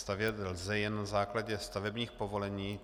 Stavět lze jen na základě stavebních povolení.